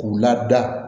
K'u lada